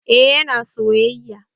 Eh, yana soyayya